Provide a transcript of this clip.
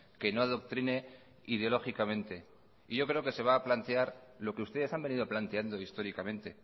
que no adoctrine ideológicamente yo creo que se va a plantear lo que ustedes han venido planteando históricamente